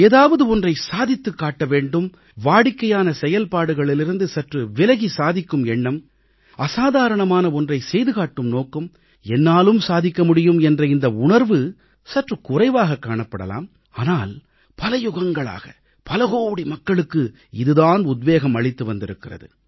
ஏதாவது ஒன்றை சாதித்துக் காட்ட வேண்டும் வாடிக்கையான செயல்பாடுகளிலிருந்து சற்று விலகி சாதிக்கும் எண்ணம் அசாதாரணமான ஒன்றை செய்துகாட்டும் நோக்கம் என்னாலும் சாதிக்க முடியும் என்ற இந்த உணர்வு சற்று குறைவாக காணப்படலாம் ஆனால் பல யுகங்களாக பலகோடி மக்களுக்கு இது தான் உத்வேகம் அளித்து வந்திருக்கிறது